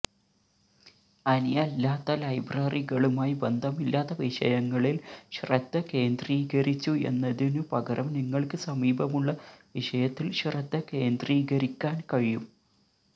അനിയല്ലാത്ത ലൈബ്രറികളുമായി ബന്ധമില്ലാത്ത വിഷയങ്ങളിൽ ശ്രദ്ധകേന്ദ്രീകരിച്ചു എന്നതിനുപകരം നിങ്ങൾക്ക് സമീപമുള്ള വിഷയത്തിൽ ശ്രദ്ധ കേന്ദ്രീകരിക്കാൻ കഴിയും